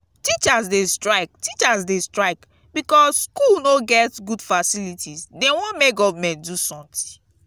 teachers dey strike teachers dey strike because skool no get good facilities dey wan make government do sometin.